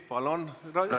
Palun!